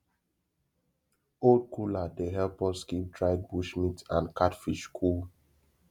old cooler dey help us keep dried bush meat and catfish cool